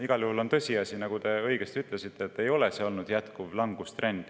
Igal juhul on tõsiasi – nagu te õigesti ütlesite –, et see langustrend ei ole olnud jätkuv.